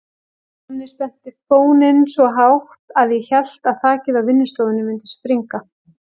Nonni spennti fóninn svo hátt að ég hélt að þakið á vinnustofunni mundi springa.